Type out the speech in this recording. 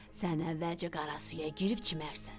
Sən əvvəlcə qara suya girib çimərsən.